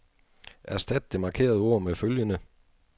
Erstat det markerede ord med følgende.